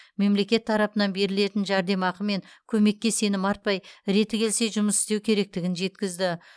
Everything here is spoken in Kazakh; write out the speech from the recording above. мемлекет тарапынан берілетін жәрдемақы мен көмекке сенім артпай реті келсе жұмыс істеу керектігін жеткізді